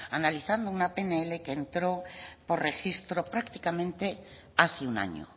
analizando una pnl que entró por registro prácticamente hace un año